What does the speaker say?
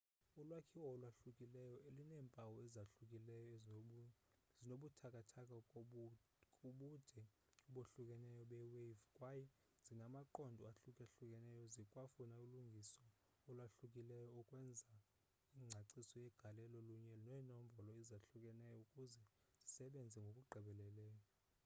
ulwakhiwo olwahlukileyo luneempawu ezahlukileyo zinobuthathaka kubude obahlukeneyo be-wave kwaye zinamaqondo ahluka-hlukeneyo zikwafuna ulungiso olwahlukileyo ukwenza ingcaciso yegalelo kunye neenombolo ezahlukeneyo ukuze zisebenze ngokugqibeleleyo